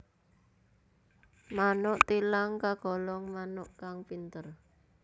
Manuk thilang kagolong manuk kang pinter